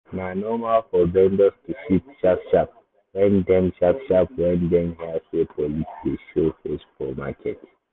na normal for vendors to shift sharp-sharp when dem sharp-sharp when dem hear say police dey show face for market.